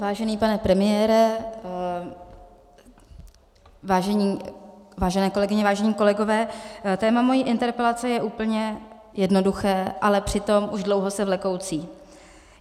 Vážený pane premiére, vážené kolegyně, vážení kolegové, téma mé interpelace je úplně jednoduché, ale přitom už dlouho se vlekoucí.